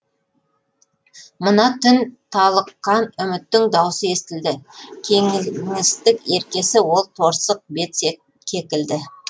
мына түн талыққан үміттің дауысы естілді кеңістік еркесі ол торсық бет кекілді